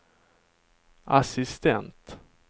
assistent